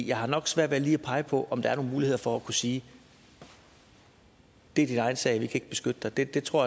jeg har nok svært ved lige at pege på om der er nogle muligheder for at kunne sige det er din egen sag vi kan ikke beskytte dig det det tror